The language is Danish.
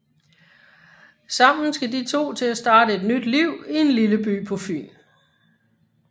Sammen skal de to til at starte et nyt liv i en lille by på Fyn